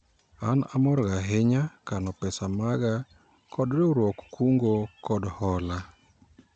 An amorga ahinya kano pesa maga kod riwruog kungo kod hola